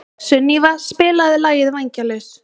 Sunníva, spilaðu lagið „Vængjalaus“.